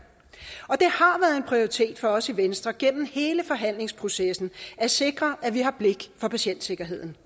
og det har været prioritet for os i venstre gennem hele forhandlingsprocessen at sikre at vi har blik for patientsikkerheden